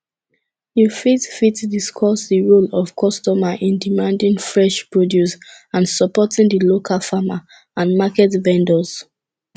you fit fit discuss di role of customer in demanding fresh produce and supporting di local farmer and market vendors